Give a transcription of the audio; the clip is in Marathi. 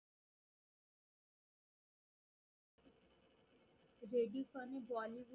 जेडी फर ने Bollywood